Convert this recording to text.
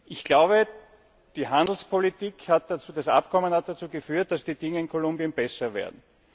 Ich glaube, die Handelspolitik und das Abkommen haben dazu geführt, dass die Dinge in Kolumbien besser werden.